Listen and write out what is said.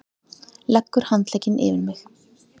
Leggur handlegginn yfir mig.